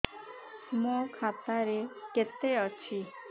ମୋ ଖାତା ରେ କେତେ ଅଛି